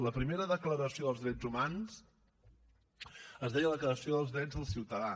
la primera declaració de drets humans es deia declaració dels drets del ciutadà